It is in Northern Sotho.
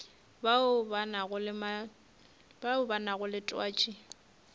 bao ba nago le twatši